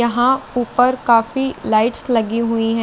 यहा उपर काफी लाइट्स लगी हुई है।